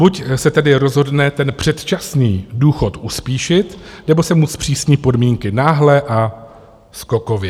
Buď se tedy rozhodne ten předčasný důchod uspíšit, nebo se mu zpřísní podmínky, náhle a skokově.